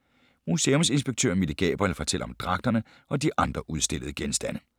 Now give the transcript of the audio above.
Museumsinspektør Mille Gabriel fortæller om dragterne og de andre udstillede genstande.